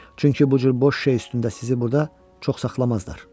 Çünki bu cür boş şey üstündə sizi burda çox saxlamazlar.